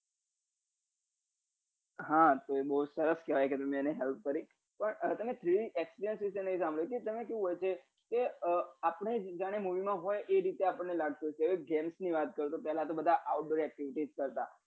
હા એ બહુ સરસ કેવાય કે તમે એની help કરી પણ તમે three d exprees વિષે નહિ સાંભળ્યું કે તેમાં કેવું હોય કે આપણે જાને movie હોય એ રીતે આપને લાગે તો પેલા jans ની વાત કરીએ તો પેલા બધા out going activice કરતા